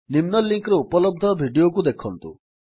ନିମ୍ନ ଲିଙ୍କ୍ ରେ ଉପଲବ୍ଧ ଭିଡିଓକୁ ଦେଖନ୍ତୁ